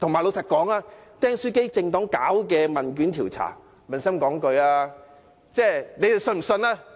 老實說，"釘書機政黨"進行的問卷調查，撫心自問，你們相信嗎？